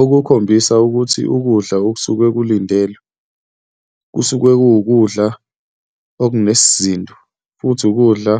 Okukhombisa ukuthi ukudla okusuke kulindelwe kusuke kuwukudla okunesizinda futhi wukudla